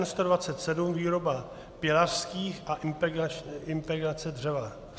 N127 - výroba pilařských a impregnace dřeva.